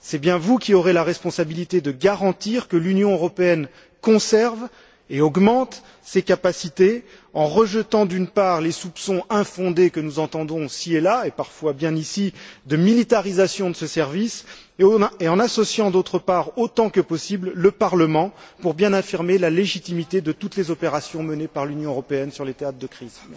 C'est bien vous qui aurez la responsabilité de garantir que l'Union européenne conserve et augmente ses capacités en rejetant, d'une part, les soupçons infondés que nous entendons ici et là et, parfois bien ici, de militarisation de ce service, et en associant, d'autre part, autant que possible, le Parlement pour bien affirmer la légitimité de toutes les opérations menées par l'Union européenne sur les théâtres de crises.